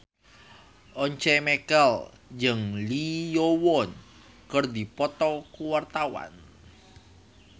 Once Mekel jeung Lee Yo Won keur dipoto ku wartawan